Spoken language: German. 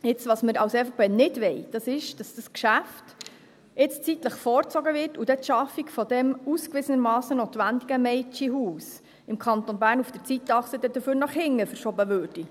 Jetzt: Was wir als EVP nicht wollen, ist, dass das Geschäft jetzt zeitlich vorgezogen wird und dafür dann die Schaffung des ausgewiesenermassen notwendigen Mädchenhauses im Kanton Bern auf der Zeitachse nach hinten verschoben würde.